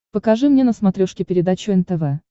покажи мне на смотрешке передачу нтв